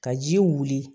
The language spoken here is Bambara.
Ka ji wuli